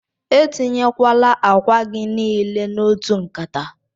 Etinyekwala akwa gi nile n'otu nkata!